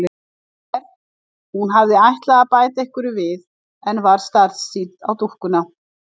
Er. hún hafði ætlað að bæta einhverju við en varð starsýnt á dúkkuna.